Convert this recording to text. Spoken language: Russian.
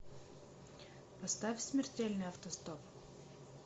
поставь смертельный автостоп